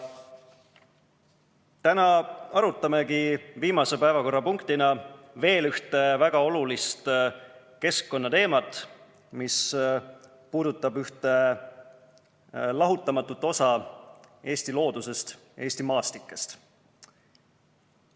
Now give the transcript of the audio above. " Täna arutamegi viimase päevakorrapunktina veel ühte väga olulist keskkonnateemat, mis puudutab ühte lahutamatut osa Eesti loodusest, Eesti maastikest.